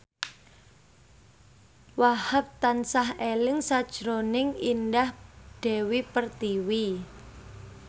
Wahhab tansah eling sakjroning Indah Dewi Pertiwi